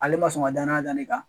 Ale ma sɔn ka danaya da ne kan